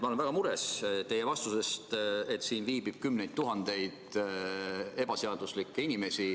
Ma olen väga mures teie vastuse pärast, et siin viibib kümneid tuhandeid ebaseaduslikke inimesi ...